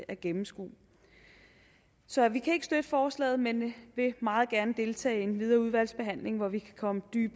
at gennemskue så vi kan ikke støtte forslaget men vil meget gerne deltage i den videre udvalgsbehandling hvor vi kan komme